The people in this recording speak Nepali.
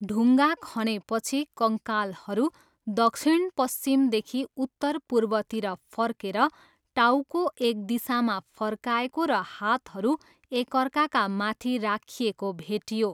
ढुङ्गा खनेपछि, कङ्कालहरू दक्षिणपश्चिमदेखि उत्तरपूर्वतिर फर्केर, टाउको एक दिशामा फर्काएको र हातहरू एकअर्काका माथि राखिएको भेटियो।